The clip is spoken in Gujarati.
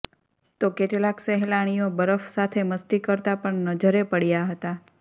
તો કેટલાક સહેલાણીઓ બરફ સાથે મસ્તી કરતા પણ નજરે પડયા હતા